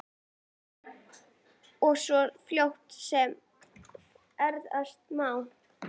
Og svo fljótt sem verða má.